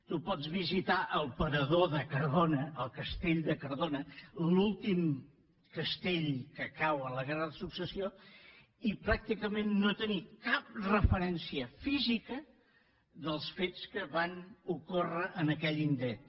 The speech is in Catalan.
tu pots visitar el parador de cardona el castell de cardona l’últim castell que cau en la guerra de successió i pràcticament no tenir cap referència física dels fets que van ocórrer en aquell indret